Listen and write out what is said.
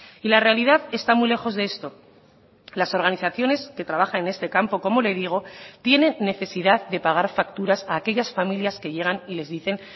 y la realidad está muy lejos de esto las organizaciones que trabajan en este campo como le digo tienen necesidad de pagar facturas a aquellas familias que llegan y les dicen